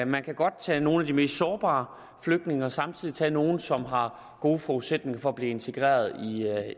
man kan godt tage nogle af de mest sårbare flygtninge og samtidig tage nogle som har gode forudsætninger for at blive integreret